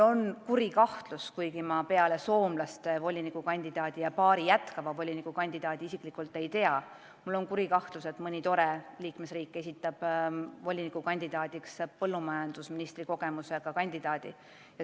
Ma peale Soome volinikukandidaadi ja paari ametis jätkava volinikukandidaadi isiklikult kedagi ei tea, aga mul on kuri kahtlus, et mõni liikmesriik esitab põllumajandusvoliniku kandidaadiks põllumajandusministri kogemusega inimese.